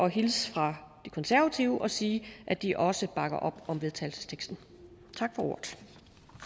hilse fra de konservative og sige at de også bakker op om vedtagelsesteksten